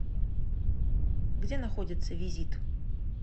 где находится визит